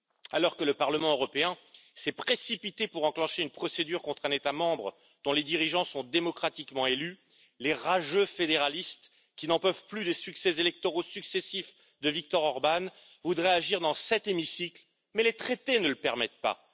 Alors que le Parlement européen s'est précipité pour enclencher une procédure contre un État membre dont les dirigeants sont démocratiquement élus, les rageux fédéralistes qui n'en peuvent plus des succès électoraux successifs de Viktor Orbán voudraient agir dans cet hémicycle, mais les traités ne le permettent pas.